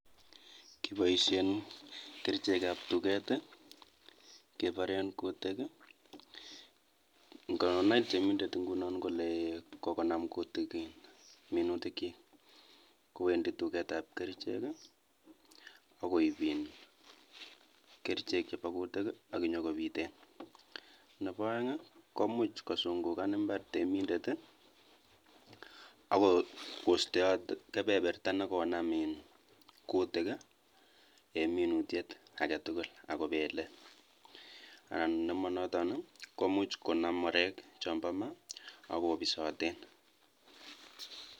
Kiboishen kerichekab tuket keboren kutik ng'onai temindet ing'unon kolee kokonam kutik minutikyik kowendi tuketab kerichek akoib iin kerichek chebokutik ak kobiten, nebo oeng koimuch kusung'ukan imbar temendet ak kosteot kebeberta nekonam iin kutik en minutiet aketukul ak kobele anan nemonoton komuch konam oreek chombo maa ak kobisoten.